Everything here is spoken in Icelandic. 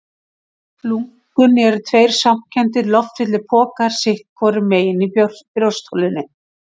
Lungun eru tveir svampkenndir, loftfylltir pokar sitt hvorum megin í brjóstholinu.